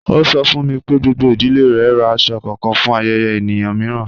Ọ sọ̀ fún mi pé gbogbo idílé rè rá àṣọ̀ kànán fún ayẹ̀yẹ̀ èníyàn miìràn.